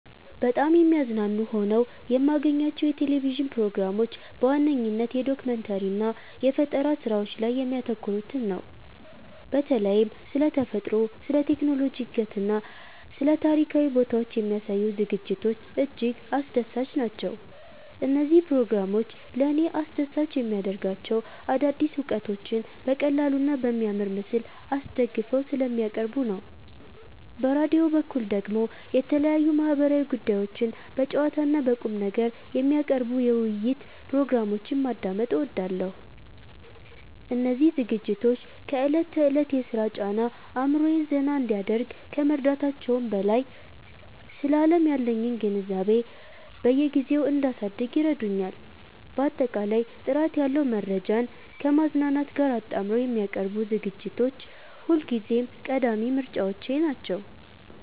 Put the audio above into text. በጣም የሚያዝናኑ ሆነው የማገኛቸው የቴሌቪዥን ፕሮግራሞች በዋነኝነት የዶኩመንተሪ እና የፈጠራ ስራዎች ላይ የሚያተኩሩትን ነው። በተለይም ስለ ተፈጥሮ፣ ስለ ቴክኖሎጂ እድገትና ስለ ታሪካዊ ቦታዎች የሚያሳዩ ዝግጅቶች እጅግ አስደሳች ናቸው። እነዚህ ፕሮግራሞች ለእኔ አስደሳች የሚያደርጋቸው አዳዲስ እውቀቶችን በቀላሉና በሚያምር ምስል አስደግፈው ስለሚያቀርቡ ነው። በራዲዮ በኩል ደግሞ የተለያዩ ማህበራዊ ጉዳዮችን በጨዋታና በቁምነገር የሚያቀርቡ የውይይት ፕሮግራሞችን ማዳመጥ እወዳለሁ። እነዚህ ዝግጅቶች ከዕለት ተዕለት የሥራ ጫና አእምሮዬን ዘና እንዲያደርግ ከመርዳታቸውም በላይ፣ ስለ ዓለም ያለኝን ግንዛቤ በየጊዜው እንዳሳድግ ይረዱኛል። ባጠቃላይ ጥራት ያለው መረጃን ከማዝናናት ጋር አጣምረው የሚያቀርቡ ዝግጅቶች ሁልጊዜም ቀዳሚ ምርጫዎቼ ናቸው።